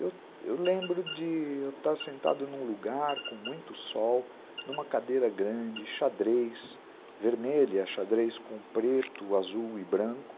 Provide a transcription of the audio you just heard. Eu eu lembro de estar sentado num lugar com muito sol, numa cadeira grande, xadrez, vermelha, xadrez com preto, azul e branco.